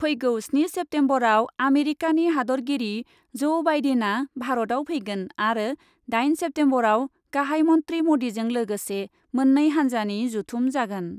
फैगौ स्नि सेप्तेम्बरआव आमेरिकानि हादरगिरि ज' बाइडेनआ भारतआव फैगोन आरो दाइन सेप्तेम्बरआव गाहाइ मन्थ्रि मदिजों लोगोसे मोननै हान्जानि जथुम जागोन ।